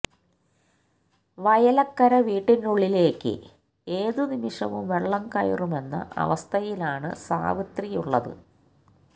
വയലക്കര വീട്ടിനുളളിലേക്ക് ഏതു നിമിഷവും വെളളം കയറുമെന്ന അവസ്ഥയിലാണ് സാവിത്രിയുളളത്